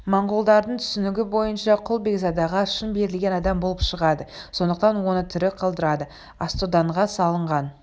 монғолдардың түсінігі бойынша құл бекзадаға шын берілген адам болып шығады сондықтан оны тірі қалдырады астоданға салынған